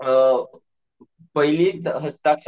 अम,